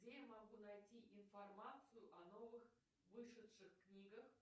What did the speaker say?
где я могу найти информацию о новых вышедших книгах